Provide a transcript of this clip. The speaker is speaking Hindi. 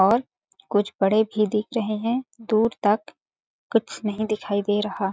और कुछ बड़े भी दिख रहे है दूर तक कुछ नहीं दिखाई दे रहा।